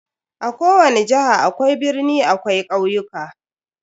A kowani jiha akwai birni akwai ƙauyuka.